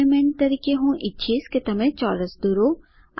assignment તરીકે હું ઈચ્છીશ કે તમે ચોરસ દોરો